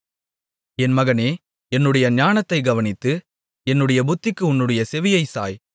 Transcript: என் மகனே என்னுடைய ஞானத்தைக் கவனித்து என்னுடைய புத்திக்கு உன்னுடைய செவியைச் சாய்